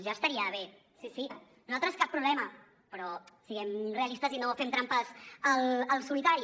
ja estaria bé sí sí nosaltres cap problema però siguem realistes i no fem trampes al solitari